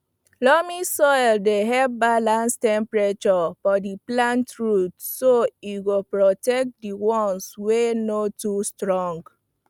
loamy soil dey help balance temperature for di plant roots so e go protect di once wey no too strong